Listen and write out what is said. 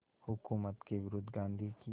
हुकूमत के विरुद्ध गांधी की